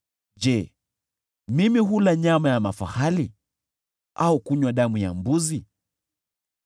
Je, mimi hula nyama ya mafahali au kunywa damu ya mbuzi?